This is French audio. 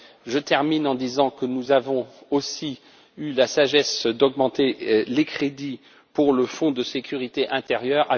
Je termine en disant que nous avons aussi eu la sagesse d'augmenter les crédits pour le fonds de sécurité intérieure